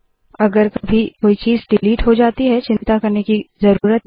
अगर कभी कोई चीज़ डिलीट हो जाती है चिंता करने की ज़रूरत नहीं